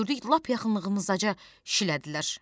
Biz də gördük lap yaxınlığımızdaca şilədilər.